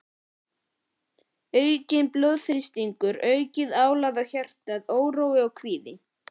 Aukinn blóðþrýstingur, aukið álag á hjarta, órói og kvíði.